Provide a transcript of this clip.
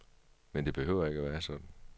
Men det behøver ikke være sådan.